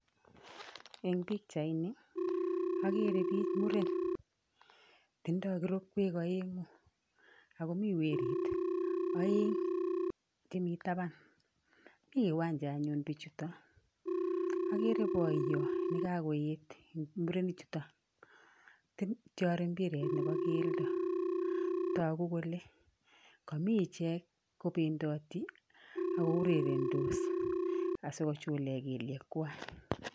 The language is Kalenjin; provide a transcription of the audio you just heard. En pichait nii okere biik muren oeng tindoo kirokwek oengu oko Mii werit oeng jemi taban mi kiwanja anyuun bijuu ton okere boyon nekakoyeet en murenik juton itiori mbiret nebo keldo tokuu kole komii ijeek kobendoti ok kourerendos asikojule kelyekwag